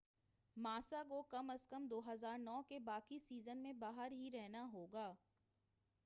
ماسا کو کم از کم 2009 کے باقی سیزن میں باہر ہی رہنا ہوگا